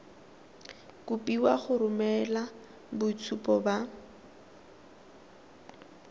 kopiwa go romela boitshupo ba